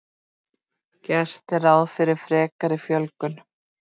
Gert er ráð fyrir frekari fjölgun